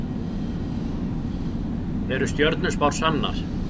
Eru stjörnuspár sannar?